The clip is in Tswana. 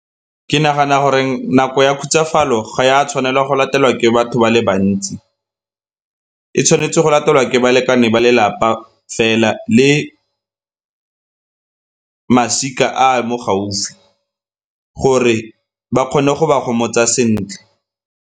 Ke nagana goreng nako ya khutsafalo ga e a tshwanelwa go latelwa ke batho ba le bantsi. E tshwanetse go latelwa ke balekane ba lelapa fela le masika a a mo gaufi gore ba kgone go ba gomotsa sentle.